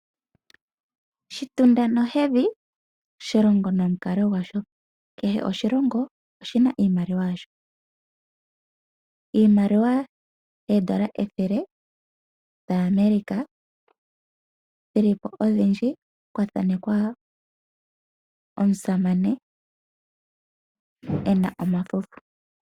Shitumda nohedhi, oshilongo ono mukalo gwa sho. Kehe oshilongo oshina iimaliwa yasho, iimaliwa oodolla ethele lyaaAmerica oshili po odhindji kwa thaalekwa omusamane ena omafufu.